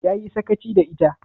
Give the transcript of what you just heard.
Ya yi sakaci da ita?